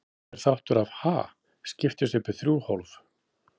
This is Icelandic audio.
Hver þáttur af Ha? skiptist upp í þrjú hólf.